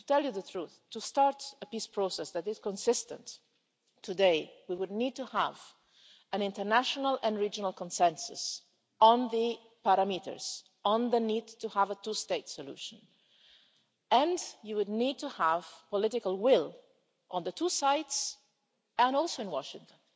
To tell you the truth, to start a peace process that is consistent today we would need to have an international and regional consensus on the parameters on the need to have a two state solution and you would need to have political will on the two sides and also in Washington.